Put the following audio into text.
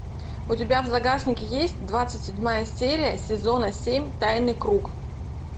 у тебя в загашнике есть двадцать седьмая серия сезона семь тайный круг